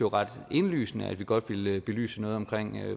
ret indlysende at vi godt ville belyse noget om